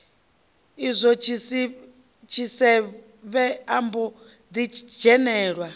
izwo tshisevhe ombo ḓi dzhenelwa